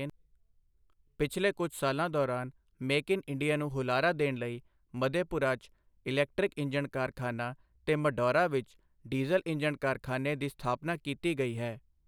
ਪਿਛਲੇ ਕੁਝ ਸਾਲਾਂ ਦੌਰਾਨ ਮੇਕ ਇਨ ਇੰਡੀਆ ਨੂੰ ਹੁਲਾਰਾ ਦੇਣ ਲਈ ਮਧੇਪੁਰਾ 'ਚ ਇਲੈਕਟ੍ਰਿਕ ਇੰਜਣ ਕਾਰਖਾਨਾ ਤੇ ਮਢੌਰਾ ਵਿੱਚ ਡੀਜ਼ਲ ਇੰਜਣ ਕਾਰਖਾਨੇ ਦੀ ਸਥਾਪਨਾ ਕੀਤੀ ਗਈ ਹੈ।